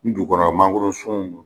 Ni dugukɔrɔ mangorosun don